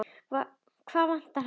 Hvað vantar hana?